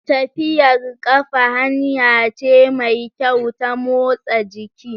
Tafiyar ƙafa hanya ce mai kyau ta motsa jiki.